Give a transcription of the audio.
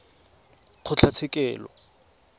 kgotlatshekelo